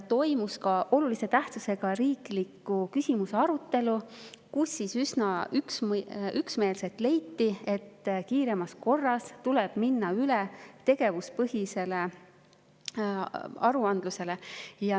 Toimus ka olulise tähtsusega riikliku küsimuse arutelu, kus üsna üksmeelselt leiti, et kiiremas korras tuleb minna üle tegevuspõhisele.